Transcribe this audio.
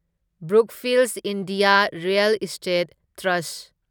Brookfield India real estate trust